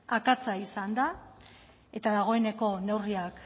akatsa izan da eta dagoeneko neurriak